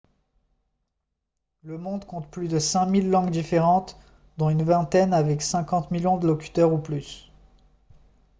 le monde compte plus de 5000 langues différentes dont une vingtaine avec 50 millions de locuteurs ou plus